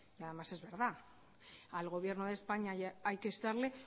y además es verdad al gobierno de españa hay que instarle